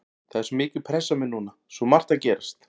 Það er svo mikil pressa á mér núna, svo margt að gerast.